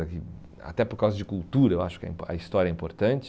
Até por causa de cultura, eu acho que é im a história é importante.